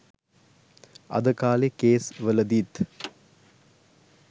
අද කාලේ කේස් වලදිත්